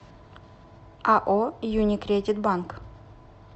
ао юникредит банк